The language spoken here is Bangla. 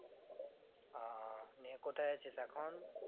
আহ নিয়ে কোথায় আছিস এখন?